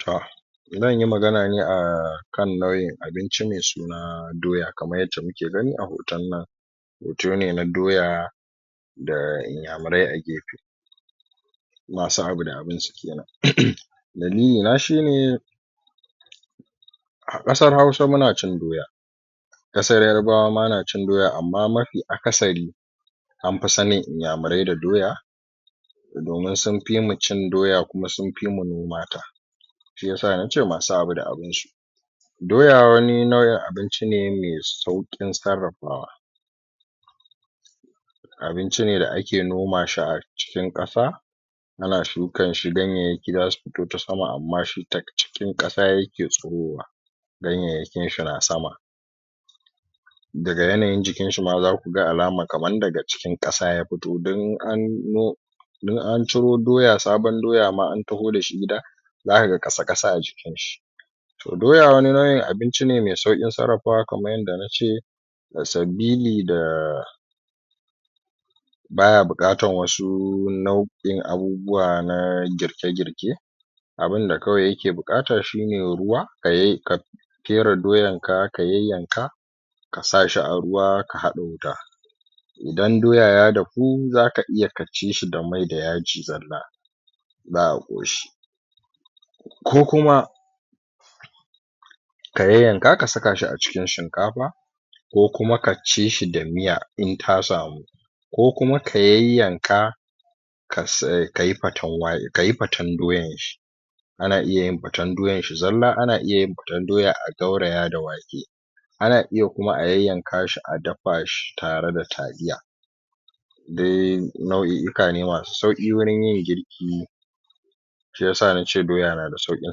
to zan yi magana ne akan na'uin abinci mai suna doya, kamar yadda muke gani a hoton nan hoto ne na doya da Inyamurai a gefe masu abu da abin su kenan uhm dalilina shi ne a ƙasar Hausa muna cin doya ƙsar Yarbawa ma na cin doya amma mafi akasari anfi sanin Inyamurai da doya domin sun fi mu cin doya kuma sun fi mu nomata shi yasa nace masu abu da abin su Doya wani nau'in abinci ne mai sauƙin sarrafawa abinci ne da ake noma shi a cikin ƙasa ana shukan shi ganyayyaki zasu fito ta sama, amma shi ta cikin ƙasa yake tsirowa ganyayyakin shi na sama daga yanayin jikinshi ma zaku alamar kamar daga cikin ƙasa ya fito don in an don an ciro doya sabon doya ma an taho da shi gida zaka ga ƙasa-ƙasa a jikinshi. to doya wani nau'in abinci ne mai sauƙin sarrafawa kamar yadda na ce sabili da baya buƙatar wasu nau'in abubuwa na girke-girke abin da kawai yake buƙata kawai shi ne ruwa ka fere doyanka, ka yayyanka kasa shi a ruwa, ka haɗa wuta idan doya ya dahu dahu zaka iya ka ci shi da mai da yaji zalla za a ƙoshi ko kuma ka yayyanka ka saka shi a cikin shinkafa ko kuma ka ci shi da miya in ta samu, ko kuma ka yayyanka ka yi fatan doyanshi ana iya yin fatan doyan shi zalla, ana iya yin fatan doya a gauraya da wake, ana iya kuma a yayyanka shi a dafa shi tare da taliya dai nau'o'uka ne masu sauƙi wurin yin girki, shi yasa na ce doya nada sauƙin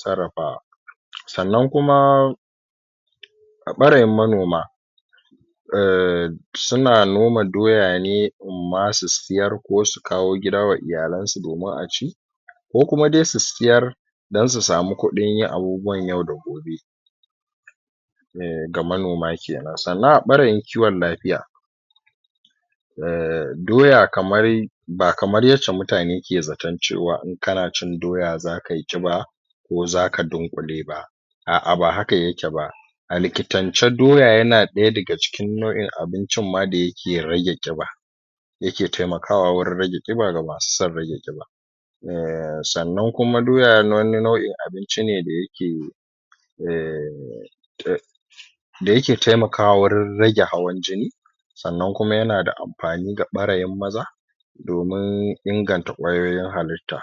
sarrafawa Sannan kuma a ɓarayin manoma ehm suna noma doya ne imma su siyar ko su kawowa iyalan su domin a ci, ko kuma dai su siyar don su samu kudin yin abubuwan yau da gobe eh ga manoma kenan, sannan a ɓarayin kiwon lafiya, eh doya kamar ba kamar yacca mutane suke zaton cewa in kana cin doya zaka yi ƙiba ko zaka dunƙule ba a'a ba haka yake ba a likitance doya yana ɗaya daga cikin nau'in abincin da yake rage ƙiba yake taimakawa wurin rage ƙiba ga masu son rage ƙiba eh, sannan kuma doya wani nau'in abinci ne da yake ehm da yake taimakawa wajen rage hawan jini sannan kuma yana da amfani ga ɓarayin maza domin inganta kwayoyin halitta